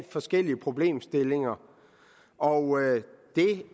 forskellige problemstillinger og